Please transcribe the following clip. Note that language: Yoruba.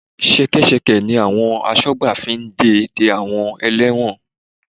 Ṣẹkẹ́ṣẹkẹ̀ ni àwọn asọ́gbà fi ń de de àwọn ẹlẹ́wọ̀n